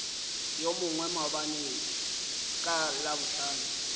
yo mongwe maabane ka labohlano